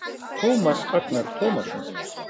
Tómas Agnar Tómasson